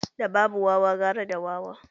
Da babu wawa gara da wawa.